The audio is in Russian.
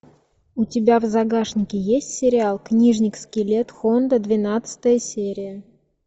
у тебя в загашнике есть сериал книжник скелет хонда двенадцатая серия